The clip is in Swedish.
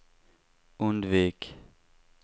undvik